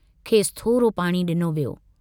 खेसि थोरो पाणी डिनो वियो।